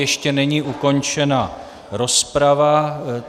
Ještě není ukončena rozprava.